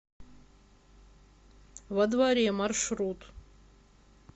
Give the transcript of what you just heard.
во дворе маршрут